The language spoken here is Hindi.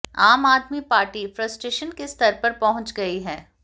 आम आदमी पार्टी फ्रस्टेशन के स्तर पर पहुंच गई है